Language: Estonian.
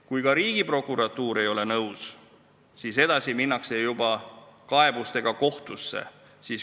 Kui ka Riigiprokuratuur ei ole nõus, siis minnakse juba kaebusega kohtusse.